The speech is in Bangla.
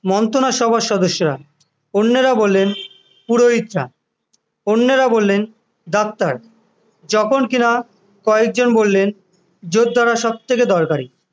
মন্ত্রণা সভার সদস্য অন্যেরা বললেন পুরোহিতরা অন্যেরা বললেন ডাক্তার যখন কিনা কয়েকজন বললেন যোদ্ধারা সব থেকে দরকারি